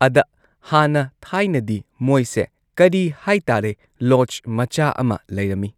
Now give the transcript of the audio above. ꯑꯗ ꯍꯥꯟꯅ ꯊꯥꯏꯅꯗꯤ ꯃꯣꯏꯁꯦ ꯀꯔꯤ ꯍꯥꯏꯇꯥꯔꯦ ꯂꯣꯗꯖ ꯃꯆꯥ ꯑꯃ ꯂꯩꯔꯝꯃꯤ꯫